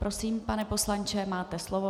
Prosím, pane poslanče, máte slovo.